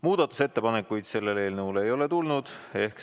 Muudatusettepanekuid selle eelnõu kohta ei ole tulnud.